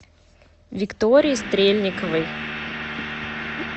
виктории стрельниковой